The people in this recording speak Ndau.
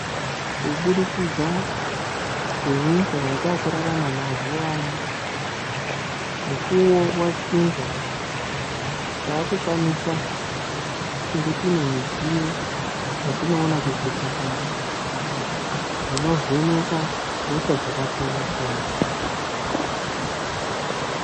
Kubudikidza ngenyika yatakurarama mazuwa ano, mukuwo wachinja takukwanisa kunge tinemidziyo yatinoona kuzvipatara dzinovheneka hosha dzakasiyana-siyana.